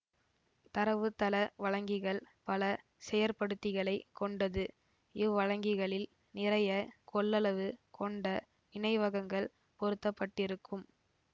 தரவுத்தள வழங்கிகள் பல செயற்படுத்திகளைக் கொண்டது இவ்வழங்கிகளில் நிறைய கொள்ளளவு கொண்ட நினைவகங்கள் பொருத்த பட்டிருக்கும்